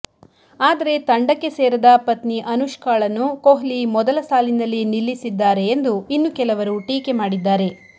ಆದರೆ ತಂಡಕ್ಕೆ ಸೇರದ ಪತ್ನಿ ಅನುಷ್ಕಾಳನ್ನು ಕೊಹ್ಲಿ ಮೊದಲ ಸಾಲಿನಲ್ಲಿ ನಿಲ್ಲಿಸಿದ್ದಾರೆ ಎಂದು ಇನ್ನು ಕೆಲವರು ಟೀಕೆ ಮಾಡಿದ್ದಾರೆ